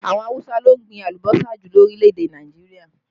Àwọn Awusa ló ń gbìn alùbọ́sà jù lórílẹ̀ èdè Nàìjíríà